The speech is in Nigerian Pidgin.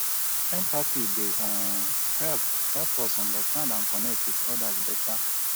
empathy dey um help help us understand and connect with odas better.